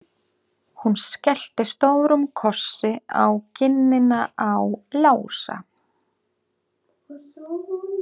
Hún skellti stórum kossi á kinnina á Lása.